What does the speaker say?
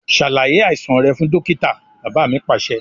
Ṣàlàyé àìsàn rẹ fún dókítà! Bàbá mi Pàṣẹ.